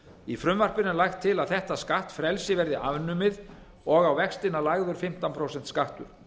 í frumvarpinu er lagt til að þetta skattfrelsi verði afnumið og á vextina lagður fimmtán prósenta skattur